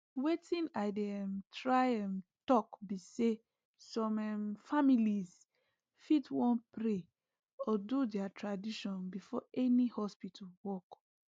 wetin i dey um try um talk be saysome um families fit wan pray or do their tradition before any hospital work